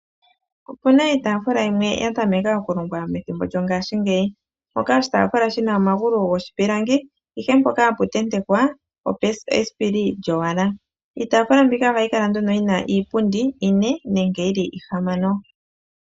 Opuna iitaafula yimwe ya tamekwa okulongwa methimbo lyongaashingeyi. Mpoka oshitaafula shi na omagulu giipilangi, ihe mpoka hapu tentekwa esipili lyowala. Iitaafula mbika ohayi kala nduno yi na iipundi ine nenge yi li ihamano.